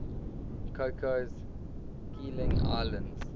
cocos keeling islands